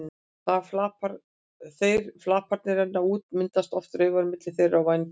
Þegar flaparnir renna út myndast oft raufar milli þeirra og vængjanna.